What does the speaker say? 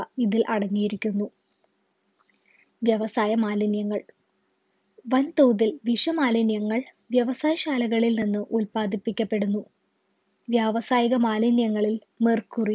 ഇതിൽ അടങ്ങിയിരിക്കുന്നു വ്യവസായ മാലിന്യങ്ങൾ വൻതോതിൽ വിഷമാലിന്യങ്ങൾ വ്യവസായ ശാലകളിൽ നിന്ന് ഉല്പാദിപ്പിക്കപ്പെടുന്നു വ്യാവസായിക മാലിന്യങ്ങളിൽ Mercury